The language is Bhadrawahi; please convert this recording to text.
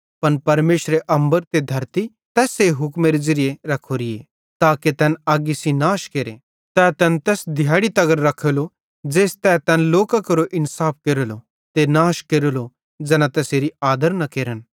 पन परमेशरे अम्बर ते धरती तैस्से हुक्मेरे ज़िरिये रखोरेन ताके तैन अग्गी सेइं नाश केरे तै तैन तैस दिहैड़ी तगर रखेलो ज़ेइस तै तैन लोकां केरो इन्साफ केरेलो ते नाश केरेलो ज़ैना तैसेरी आदर न केरन